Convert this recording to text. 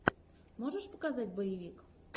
можешь показать боевик